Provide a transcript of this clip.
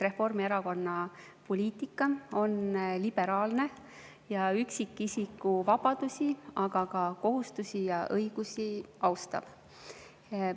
Reformierakonna poliitika on liberaalne ja üksikisiku vabadusi, aga ka kohustusi ja õigusi austav.